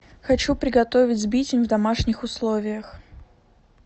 хочу приготовить сбитень в домашних условиях